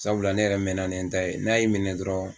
Sabula ne yɛrɛ mɛɛnna ne n ta n'a y'i minɛ dɔrɔn